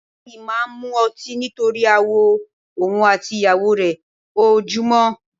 Bàbá yìí máa ń mu ọtí nítorí aáwọ̀ òun àti ìyàwó rẹ ojoojúmọ́